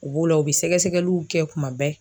U b'o la u bɛ sɛgɛsɛgɛliw kɛ kuma bɛɛ.